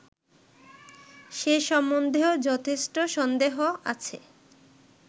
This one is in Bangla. সে সম্বন্ধেও যথেষ্ট সন্দেহ আছে